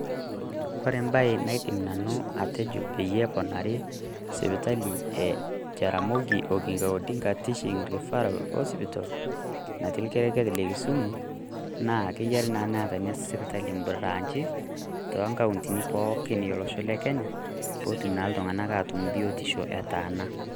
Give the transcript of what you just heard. Kore ebae naidim ajo Nanu peyie eponari sipitali e Jaramogi Odinga Oginga Teaching and Referral hospital natii olkerenket leKisumu naa keyaiari naa Neeta Ina sipitali ibraanchi too nkauntini pooki Olosho Lekenya peetum naa iltung'anak aatum biotisho etaana.